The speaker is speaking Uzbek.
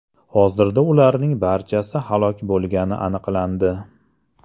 Hozirda ularning barchasi halok bo‘lgani aniqlandi.